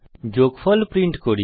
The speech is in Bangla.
যোগফল প্রিন্ট করি